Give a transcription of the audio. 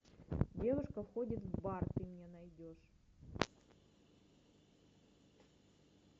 девушка входит в бар ты мне найдешь